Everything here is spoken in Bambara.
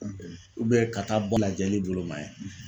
ka taa bɔ lajɛli bolo ma ye